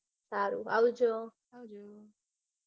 સારું આવજો. આવજો.